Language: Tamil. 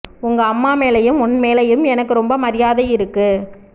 உங்க அம்மா மேலேயும் உன் மேலேயும் எனக்கு ரொம்ப மரியாதை இருக்கு